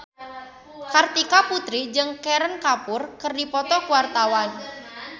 Kartika Putri jeung Kareena Kapoor keur dipoto ku wartawan